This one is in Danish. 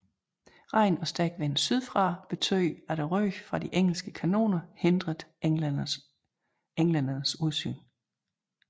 Regn og stærk vind sydfra betød at røgen fra de engelske kanoner hindrede englændernes udsyn